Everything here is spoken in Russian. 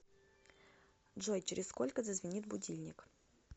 джой через сколько зазвенит будильник